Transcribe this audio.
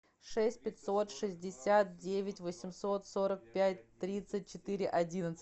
шесть пятьсот шестьдесят девять восемьсот сорок пять тридцать четыре одиннадцать